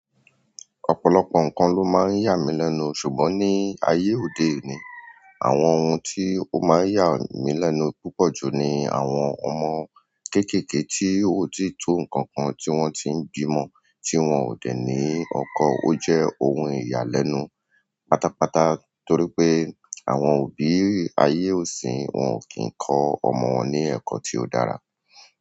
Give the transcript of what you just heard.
Ọ̀pọ̀lọpọ̀ nǹkan ló máa ń yà mí lẹ́nu, ṣùgbọ́n ní ayé òde òní, àwọn ohun tí ó máa ń yà mí lẹ́nu púpọ̀ jù ni àwọn ọmọ kéékèèké tí ó ti tó nǹkan kan tí wọ́n ti ń bímọ tí wọ́n ò dẹ ní ẹ̀kọ́. Ó jẹ́ ohun ìyàlẹ́nu pátápátá torí pé àwọn òbí ayé òṣìn wọn ò kí ń kọ́ ọmọ wọn ní ẹ̀kọ́ tí ó dára.